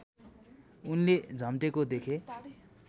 उनले झम्टेको देखे